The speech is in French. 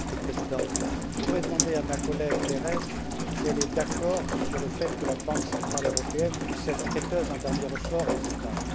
Monsieur le Président, je voudrais demander à ma collègue Mme Berès si elle est d'accord sur le fait que la Banque centrale européenne puisse être prêteuse en dernier ressort aux États.